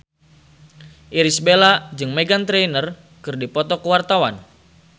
Irish Bella jeung Meghan Trainor keur dipoto ku wartawan